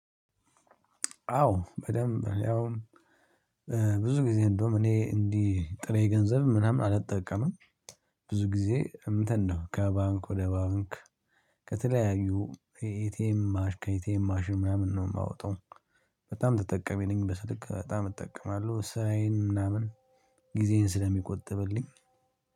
አዎ በደንብ ያውም ብዙ ጊዜ እንደውም እኔ እንዲህ ጥሬ ገንዘብ ምናምን አልጠቀምም። ብዙ ጊዜ እንትን ነው ከባንክ ወደ ባንክ ከተለያዩ የኤቲኤም ማሽ ከኤቲኤም ማሽን ምናምን ነው የማወጣው። በጣም ተጠቀሚ ነኝ። በስልክ በጣም እጠቀማለሁ። ስራዬን ምናምን ጊዜዬን ስለሚቆጥብልኝ